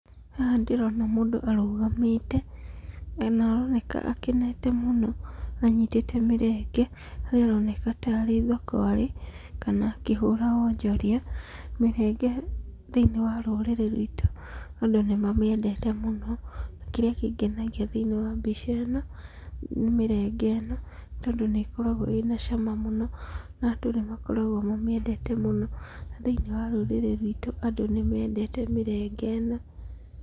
Haha ndĩrona mũndũ arũgamĩte na nĩ aroneka akenete mũno anyitĩte mĩrenge na nĩaroneka tarĩ thoko arĩ kana akĩhũra wonjoria. Mĩrenge thĩiniĩ wa rũrĩrĩ ruitũ andũ nĩ mamĩendete mũno. Kĩrĩa kĩngenagia thĩiniĩ wa mbica ĩno, nĩ mĩrenge ĩno tondũ nĩ ĩkoragwo ĩna cama mũno na andũ nĩ makoragwo mamĩendete mũno. Thĩinĩ wa rũrĩrĩ ruitũ andũ nĩmendete mĩrenge ĩno.